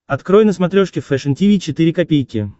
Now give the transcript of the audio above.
открой на смотрешке фэшн ти ви четыре ка